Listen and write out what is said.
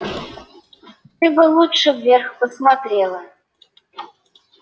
ты бы лучше вверх посмотрела